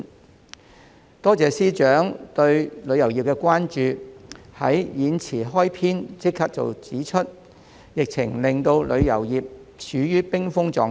我多謝財政司司長對旅遊業的關注，在演辭開篇便指出疫情令旅遊業處於冰封狀態。